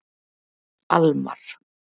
Almar